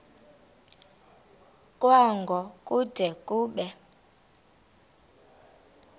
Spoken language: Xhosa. kwango kude kube